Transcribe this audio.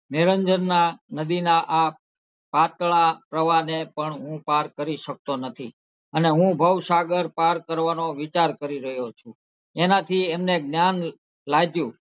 નિરંજનના નદીના આ પાતળા પ્રવાહ ને પણ હું પાર કરી શકતો નથી અને હું ભવસાગર પાર કરવાનો વિચાર કરી રહ્યો છું એનાથી એમને જ્ઞાન લાગ્યું.